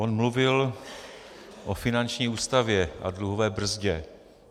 On mluvil o finanční ústavě a dluhové brzdě.